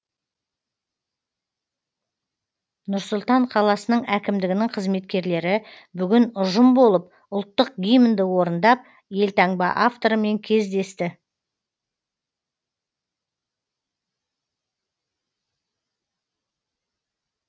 нұр сұлтан қаласының әкімдігінің қызметкерлері бүгін ұжым болып ұлттық гимнді орындап елтаңба авторымен кездесті